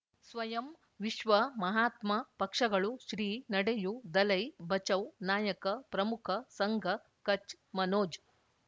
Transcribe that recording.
ಸ್ವಯಂ ವಿಶ್ವ ಮಹಾತ್ಮ ಪಕ್ಷಗಳು ಶ್ರೀ ನಡೆಯೂ ದಲೈ ಬಚೌ ನಾಯಕ ಪ್ರಮುಖ ಸಂಘ ಕಚ್ ಮನೋಜ್